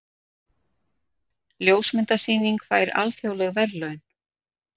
Ljósmyndasýning fær alþjóðleg verðlaun